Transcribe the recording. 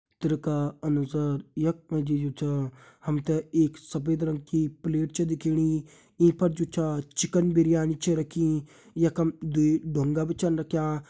चित्र का अनुसार यख मा जी जु छ हम ते एक सफ़ेद रंग की प्लेट छ दिखणी ईं पर जु छा चिकन बिरयानी छ रखीं यखम दुई ढुंगा भी छन रख्यां।